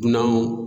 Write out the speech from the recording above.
Dunanw